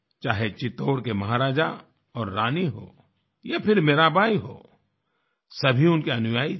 चाहे चित्तौड़ के महाराजा और रानी हों या फिर मीराबाई हों सभी उनके अनुयायी थे